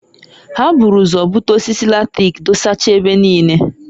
Ha buru ụzọ bute osisi latrik dosacha ebe niine.